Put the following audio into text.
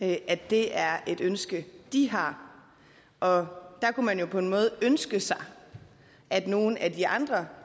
at det er et ønske de har og der kunne man jo på en måde ønske sig at nogle af de andre